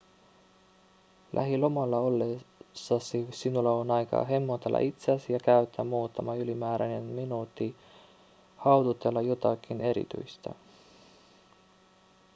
lähilomalla ollessasi sinulla on aikaa hemmotella itseäsi ja käyttää muutama ylimääräinen minuutti haudutella jotakin erityistä